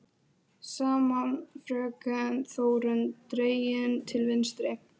Sama fröken Þórunn dregin til vitnis.